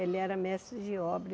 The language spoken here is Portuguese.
Ele era mestre de obra.